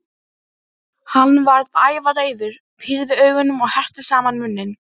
Ég veit að kapítalisminn verður að hafa stríð, sagði hann.